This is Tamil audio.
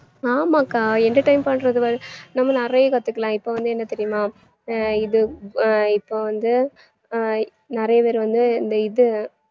ஆமாகா entertain பண்றது வந்~ நம்ம நிறைய கத்துக்கலாம் இப்ப வந்து என்ன தெரியுமா அஹ் இது இப்போ வந்து அஹ் நிறைய பேர் வந்து அந்த இது